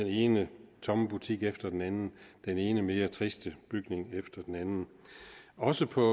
ene tomme butik efter den anden den ene mere triste bygning efter den anden også på